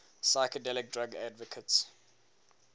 psychedelic drug advocates